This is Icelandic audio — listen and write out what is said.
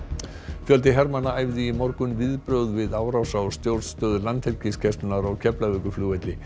fjöldi hermanna æfði í morgun viðbrögð við árás á stjórnstöð Landhelgisgæslunnar á Keflavíkurflugvelli